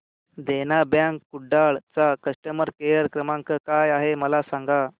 देना bank Kudal चा customer care क्रमांक काय आहे मला सांगा